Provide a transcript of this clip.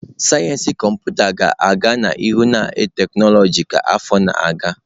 Sayensị Kọmputa ga-aga n'ihu na tekinọloji ka afọ na-aga.